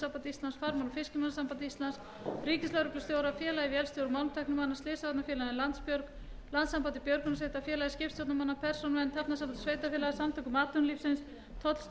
og fiskimannasambandi íslands ríkislögreglustjóra félagi vélstjóra og málmtæknimanna slysavarnafélaginu landsbjörg landssambandi björgunarsveita félagi skipstjórnarmanna persónuvernd hafnasambandi sveitarfélaga samtökum atvinnulífsins tollstjóranum í